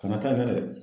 Kana taa ɲɛfɛ